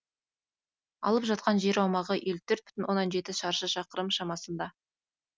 алып жатқан жер аумағы еліу төрт бүтін оннан жеті шаршы шақырым шамасында